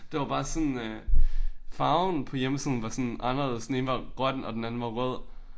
Det var bare sådan øh farven på hjemmesiden var sådan anderledes. Den ene var grøn og den anden var rød